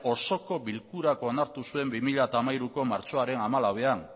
osoko bilkurak onartu zuen bi mila hamairuko martxoaren hamalauean